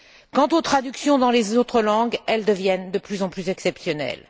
Quant aux traductions dans les autres langues, elles deviennent de plus en plus exceptionnelles.